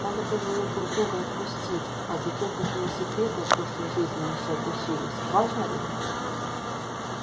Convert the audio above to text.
надо было им друг друга отпустить а за кем какие секреты от прошлой жизни ещё тащились важно ли